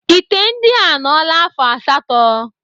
Ite ndị a anọla afọ asatọ.